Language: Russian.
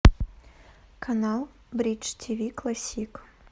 канал бридж тв классик